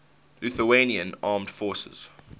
lithuanian armed forces